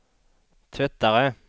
tvättare